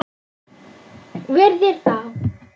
Virðir þá.